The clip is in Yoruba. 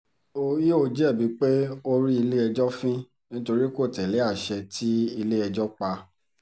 o ìó jẹ̀bi pé o rí ilé-ẹjọ́ fín nítorí kò tẹ̀lé àṣẹ tí ilé-ẹjọ́ pa